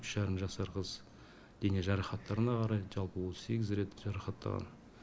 үш жарым жасар қыз дене жарақаттарына қарай жалпы отыз сегіз рет жарақаттаған